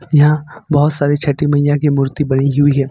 यहां बहुत सारी छठी मैया की मूर्ति पड़ी हुई है।